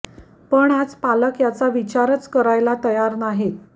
पण आज पालक याचा विचारच करायला तयार नाहीत